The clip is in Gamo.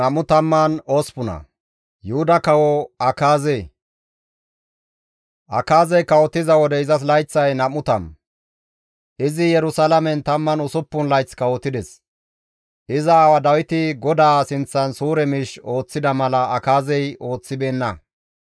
Akaazey kawotiza wode izas layththay 20; izi Yerusalaamen 16 layth kawotides; iza aawa Dawiti GODAA sinththan suure miish ooththida mala Akaazey ooththibeenna;